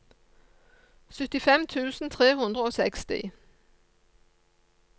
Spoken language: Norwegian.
syttifem tusen tre hundre og seksti